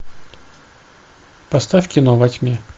поставь кино во тьме